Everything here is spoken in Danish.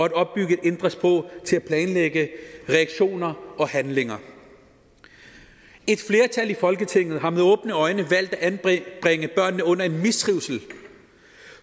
at opbygge et indre sprog til at planlægge reaktioner og handlinger et flertal i folketinget har med åbne øjne valgt at anbringe børnene under en mistrivsel